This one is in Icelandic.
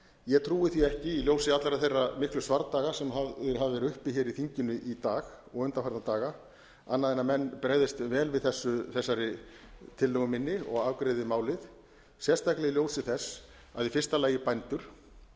ég trúi því ekki í ljósi allra þeirra miklu svardaga sem hafa verið hafðir uppi hér í þinginu í dag og undanfarna daga annað en að menn bregðist vel við þessari tillögu minni og afgreiði málið sérstaklega í ljósi þess að í fyrsta lagi bændur í öðru